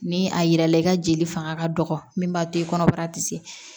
Ni a yira la i ka jeli fanga ka dɔgɔ min b'a to i kɔnɔbara tɛ se